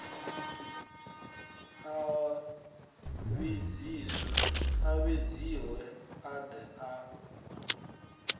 a vhidziwe a de a